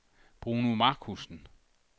Bruno Markussen